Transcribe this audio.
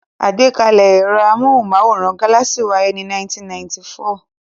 Àgbákalẹ̀ ẹ̀rọ amóhùmáwòhán Galaxy wáyé ní 1994.